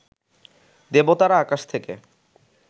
দেবতারা আকাশ থেকে